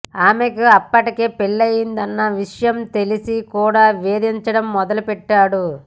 ఆమెకు అప్పటికే పెళ్లి అయ్యిందన్న విషయం తెలిసి కూడా వేధించడం మొదలుపెట్టాడు